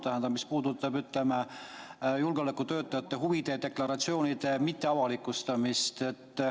Tähendab, see puudutab julgeolekutöötajate huvide deklaratsioonide mitteavalikustamist.